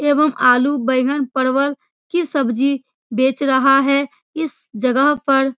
एवं आलू बेंगन परवल की सब्जी बेच रहा है इस जगह पर।